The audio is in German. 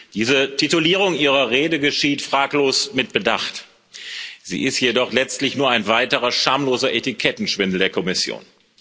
Diese Titulierung Ihrer Rede geschieht fraglos mit Bedacht. Sie ist jedoch letztlich nur ein weiterer schamloser Etikettenschwindel der Kommission.